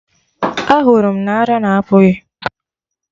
Ahụrụ m na ara na apụ gị!